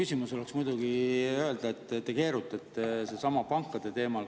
Lihtne oleks muidugi öelda, et te keerutate sellel samal pankade teemal.